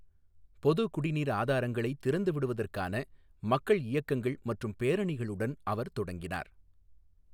பொது குடிநீர் ஆதாரங்களைத் திறந்து விடுவதற்கான மக்கள் இயக்கங்கள் மற்றும் பேரணிகளுடன் அவர் தொடங்கினார்.